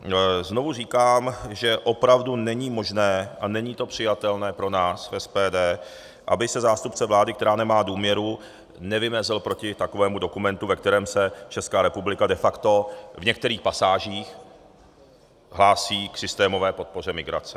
Znovu říkám, že opravdu není možné a není to přijatelné pro nás v SPD, aby se zástupce vlády, která nemá důvěru, nevymezil proti takovému dokumentu, ve kterém se Česká republika de facto v některých pasážích hlásí k systémové podpoře migrace.